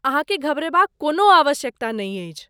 अहाँकेँ घबरयबाक कोनो आवश्यकता नहि अछि।